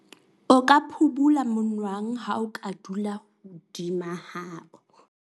o ka phubula monwang ha o ka dula hodima hao